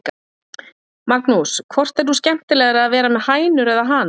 Magnús: Hvort er nú skemmtilegra að vera með hænur eða hana?